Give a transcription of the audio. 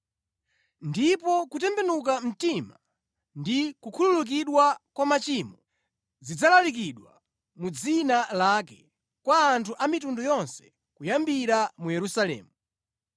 Ndipo kutembenuka mtima ndi kukhululukidwa kwa machimo zidzalalikidwa mu dzina lake kwa anthu amitundu yonse kuyambira mu Yerusalemu.